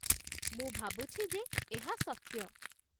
ମୁଁ ଭାବୁଛି ଯେ ଏହା ସତ୍ୟ।